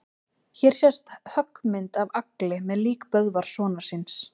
Hér sést höggmynd af Agli með lík Böðvars sonar síns.